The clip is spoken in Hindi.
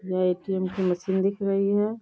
ये ए.टी.एम. की मशीन दिख रही है।